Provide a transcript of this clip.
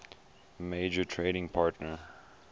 major trading partner